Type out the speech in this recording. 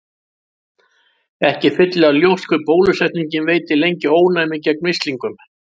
Ekki er fyllilega ljóst hve bólusetning veitir lengi ónæmi gegn mislingum.